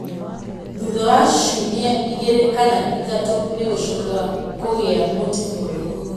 Thutha wa ciumia igĩrĩ kana ithatũ nĩ gũcokaga kũgĩa mũtĩ mwerũ.